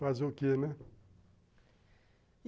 fazer o que, né?